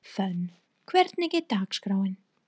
Fönn, hvernig er dagskráin?